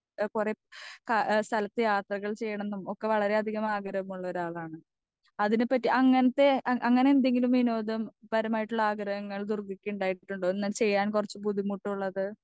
speaker 2 ഏഹ് കൊറേ കാ എഹ് സ്ഥലത്തെ യാത്രകൾ ചെയ്യണം ന്നും ഒക്കെ വളരെയധികം ആഗ്രഹമുള്ളരാളാണ് അതിനെ പറ്റി അങ്ങനത്തെ അ അങ്ങനെ എന്തെങ്കിലും വിനോദം പരമായിട്ടുള്ള ആഗ്രഹങ്ങൾ ദുർഗയ്ക്ക് ഇണ്ടായിട്ടുണ്ടോ ഒന്ന് ചെയ്യാൻ കൊറച്ച് ബുദ്ധിമുട്ടുള്ളത്